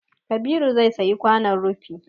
Kabiru zai sayi kwanon rufi